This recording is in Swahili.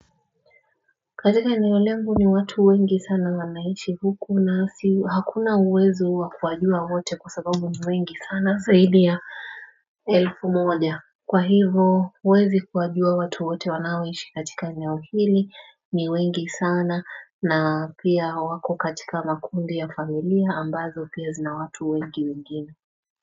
Katika eneo langu ni watu wengi sana wanaishi huku na hakuna uwezo wakuwajua wote kwa sababu ni wengi sana zaidi ya elfu moja Kwa hivo uwezi kuwajua watu wote wanaoishi katika inaohili ni wengi sana na pia wako katika makundi ya familia ambazo pia zina watu wengi wengine.